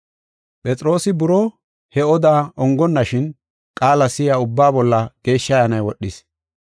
Phexroosi buroo he oda ongonnashin qaala si7iya ubbaa bolla Geeshsha Ayyaanay wodhis.